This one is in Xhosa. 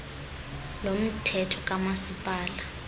lo mthetho kamasipala